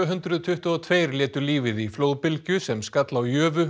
hundruð tuttugu og tveir létu lífið í flóðbylgju sem skall á